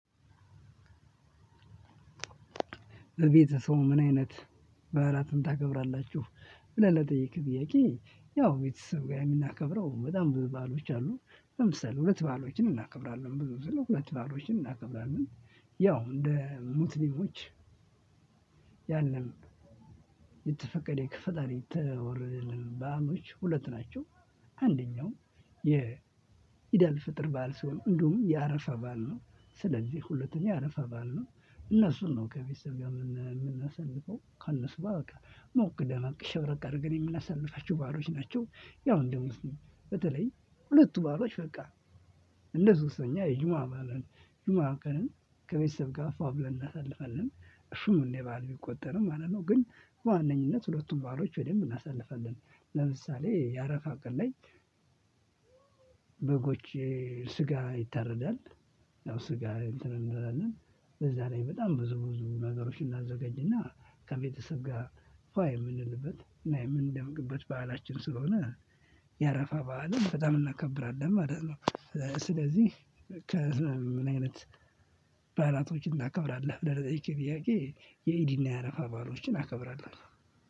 በቤተሰቡ ምን አይነት በዓላትን ታከብራላችሁ? ብለህ ለጠየቅከኝ ጥያቄ፣ ያው ቤተሰብ ጋር የምናከብረው በጣም ብዙ በዓሎች አሉ። ለምሳሌ ሁለት በዓሎችን እናከብራለን ብዙ ግዜ ሁለት በዓሎችን እናከብራለን። ያው እንደ ሙስሊሞች ያለን የተፈቀደ ከፈጣሪ የተወረደልን በዓሎች ሁለት ናቸው። አንደኛው የኢዳልፈጥር በዓል ሲሆን፣ እንዲሁም የአረፋ በዓል ነው። ስለዚህ ሁለተኛው የአረፋ በዓል ነው። እነሱን ነው ከቤተሰብ ጋር ምና የምናሳልፈው። ከእነሱ ጋር በቃ ሞቅ ደመቅ ሽብረቅ አድርገን የምናሳልፋቸው በዓሎች ናቸው። ያው እንደ ሙስሊም በተለይ ሁለቱ በዓሎች በቃ እንደ ሶስተኛ የጁማ በዓልን ጁማ ቀንን ከቤተሰብ ጋር ፏ ብለን እናሳልፋለን። እሱም እንደ በዓል ቢቆጠርም ማለት ነው። ግን በዋነኝነት ሁለቱን በዓሎች በደንብ እናሳልፋለን። ለምሳሌ የአረፋ ቀን ላይ በጎች ስጋ ይታረዳል። ያው ስጋ እንትን እንላለን። በዛ ላይ በጣም ብዙ ብዙ ነገሮችን እናዘጋጅና ከቤተሰብ ጋር ፏ የምንልበት እና የምንደምቅበት በዓላችን ስለሆነ የአረፋ በዓልን በጣም እናከብራለን ማለት ነው። ስለዚህ ከዛ ምን አይነት በዓላቶችን ታከብራለህ? ብለህ ለጠየቅከኝ ጥያቄ የኢዲና የአረፋ በዓሎችን አከብራለሁ።